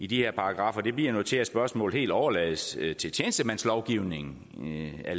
de her paragraffer bliver nu til at spørgsmålet helt overlades til tjenestemandslovgivningen